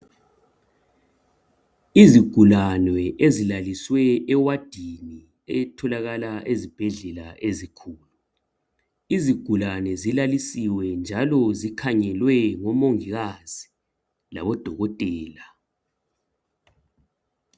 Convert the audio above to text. Izigulane ezilalisiwe ewadini elitholakala ezibhedlela ezinkulu izigulane zilalisiwe njalo zikhangelwe ngomongikazi labodokotela.